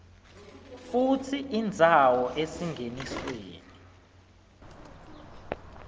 futsi indzawo esingenisweni